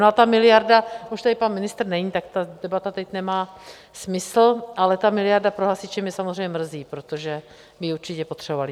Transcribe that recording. No a ta miliarda, už tady pan ministr není, tak ta debata teď nemá smysl, ale ta miliarda pro hasiče mě samozřejmě mrzí, protože by ji určitě potřebovali.